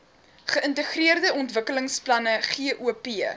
geïntegreerde ontwikkelingsplanne gop